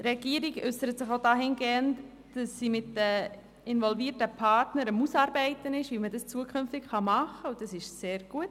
Die Regierung äussert sich auch dahingehend, dass sie mit den involvierten Partnern derzeit ausarbeitet, wie man es zukünftig machen kann, und das ist sehr gut.